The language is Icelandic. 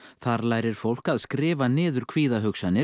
þar lærir fólk að skrifa niður